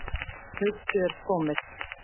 Haustið er komið.